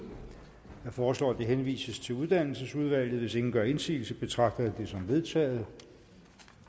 jeg foreslår at det henvises til uddannelsesudvalget hvis ingen gør indsigelse betragter jeg det som vedtaget